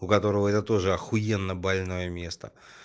у которого я тоже ахуенно больное место